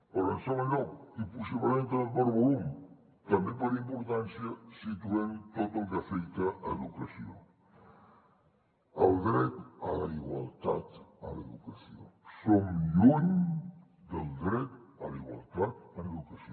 però en segon lloc i possiblement també per volum també per importància situem tot el que afecta educació el dret a la igualtat a l’educació som lluny del dret a la igualtat en educació